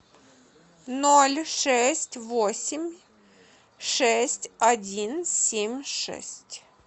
ноль шесть восемь шесть один семь шесть